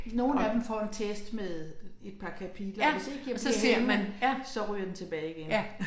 Nogle af dem får en test med et par kapitler og hvis ikke jeg gider have den så ryger den tilbage igen